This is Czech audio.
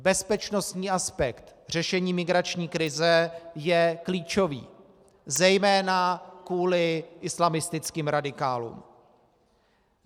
Bezpečnostní aspekt řešení migrační krize je klíčový, zejména kvůli islamistickým radikálům.